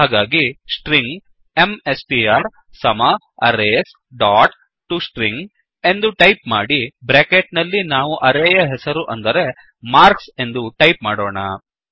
ಹಾಗಾಗಿ string MSTR ಸಮ arrays dot to string ಎಂದು ಟೈಪ್ ಮಾಡಿ ಬ್ರ್ಯಾಕೆಟ್ ನಲ್ಲಿ ನಾವು ಅರೇಯ ಹೆಸರು ಅಂದರೆ ಮಾರ್ಕ್ಸ್ ಎಂದು ಟೈಪ್ ಮಾಡೋಣ